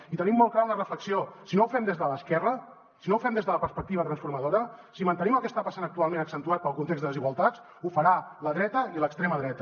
i tenim molt clara una reflexió si no ho fem des de l’esquerra si no ho fem des de la perspectiva transformadora si mantenim el que està passant actualment accentuat pel context de desigualtats ho faran la dreta i l’extrema dreta